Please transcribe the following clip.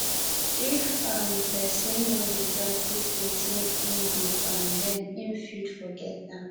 if um persin no de practice wetin im de um learn im fit forget am